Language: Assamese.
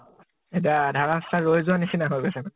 এতিয়া আধা ৰাষ্টা ত ৰৈ যোৱা নিছিনা হৈ গৈছে মানে ।